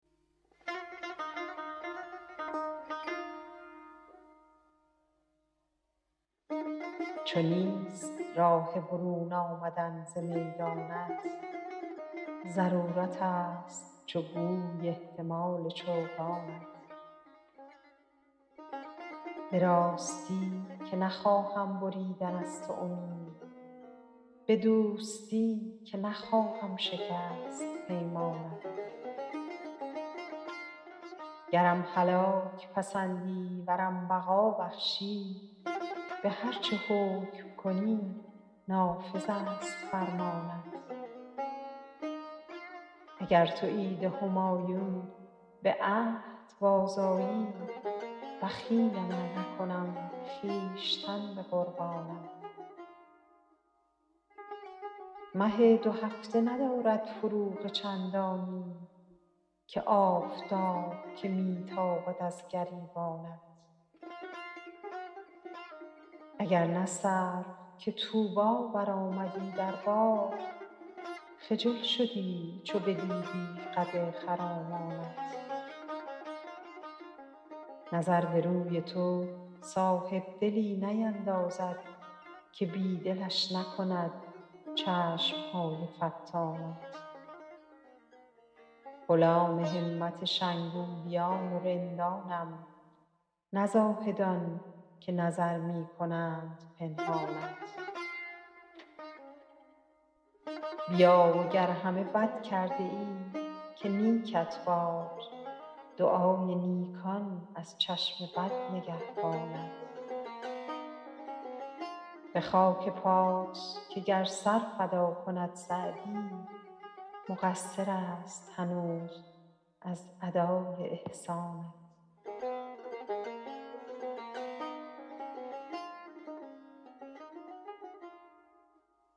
چو نیست راه برون آمدن ز میدانت ضرورتست چو گوی احتمال چوگانت به راستی که نخواهم بریدن از تو امید به دوستی که نخواهم شکست پیمانت گرم هلاک پسندی ورم بقا بخشی به هر چه حکم کنی نافذست فرمانت اگر تو عید همایون به عهد بازآیی بخیلم ار نکنم خویشتن به قربانت مه دوهفته ندارد فروغ چندانی که آفتاب که می تابد از گریبانت اگر نه سرو که طوبی برآمدی در باغ خجل شدی چو بدیدی قد خرامانت نظر به روی تو صاحبدلی نیندازد که بی دلش نکند چشم های فتانت غلام همت شنگولیان و رندانم نه زاهدان که نظر می کنند پنهانت بیا و گر همه بد کرده ای که نیکت باد دعای نیکان از چشم بد نگهبانت به خاک پات که گر سر فدا کند سعدی مقصرست هنوز از ادای احسانت